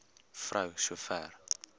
vrou so ver